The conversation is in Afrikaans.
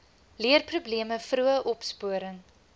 leerprobleme vroeë opsporing